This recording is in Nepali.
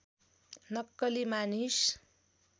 नक्कली मानिस